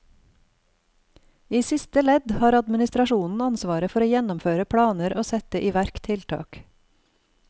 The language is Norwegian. I siste ledd har administrasjonen ansvaret for å gjennomføre planer og sette i verk tiltak.